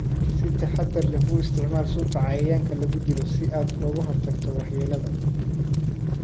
Si taxadar leh u isticmaal sunta cayayaanka lagu dilo si aad uga hortagto waxyeelada.